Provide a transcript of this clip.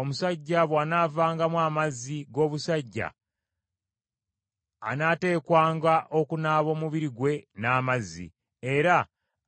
“Omusajja bw’anaavangamu amazzi g’obusajja anaateekwanga okunaaba omubiri gwe n’amazzi, era